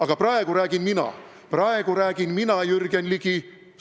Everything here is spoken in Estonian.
Aga praegu räägin mina, praegu räägin mina, Jürgen Ligi!